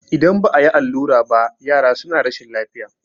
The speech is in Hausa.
idan ba a yi allura ba yara suna rashin lafiya